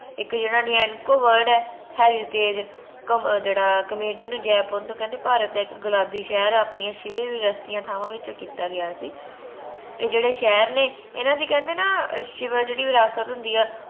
ਇਕ ਜੇਹੜਾ nianko, word ਆ heritage ਜੈਪੁਰ ਨੂੰ ਕਹਿੰਦੇ ਭਾਰਤ ਦਾ ਇਕ ਗੁਲਾਬੀ ਸ਼ਹਿਰ ਆ ਆਪਣੀ ਥਾਵਾਂ ਵਿੱਚੋ ਕੀਤਾ ਗਯਾ ਸੀ ਏ ਜੇਹੜੇ ਸ਼ਹਿਰ ਨੇ ਏਨਾ ਦੀ ਕਹਿਣੇ ਨਾ ਜੇਹੜੀ ਵਿਰਾਸਤ ਹੁੰਦੀ ਆ